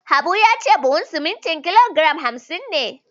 Habu ya ce buhun sumunti kilo giram hamsin ne